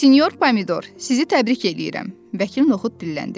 Sinyor Pomidor, sizi təbrik eləyirəm, Vəkil Nohud dilləndi.